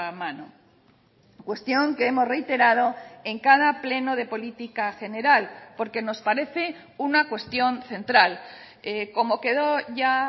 mano cuestión que hemos reiterado en cada pleno de política general porque nos parece una cuestión central como quedó ya